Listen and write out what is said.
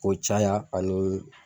K'o caya ani .